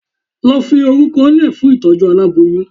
lo Fi oruko le fún itojú àláboyún.